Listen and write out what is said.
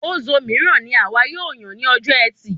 Ozo míràn ní àwa yóò yàn ní ọjọ ẹtì